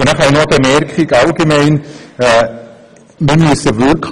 Nun habe ich noch eine allgemeine Bemerkung.